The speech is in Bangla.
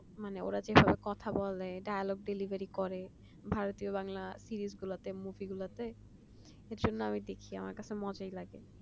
মানে ওরা যেভাবে কথা বলে dialogue delivery করে ভারতীয় বাংলা series গুলাতে সেজন্য আমি দেখি আমার খুব মজা লাগে